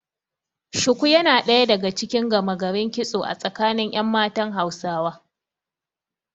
Shuku yana ɗaya daga cikin gama garin kitso a tsakanin ƴan matan Hausawa.